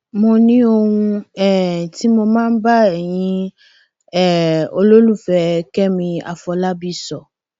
mo ní ohun um tí mo máa bá ẹyin um olólùfẹ kẹmi àfọlábí sọ